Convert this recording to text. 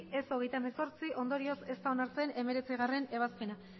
ez hogeita hemezortzi ondorioz ez da onartzen hemezortzigarrena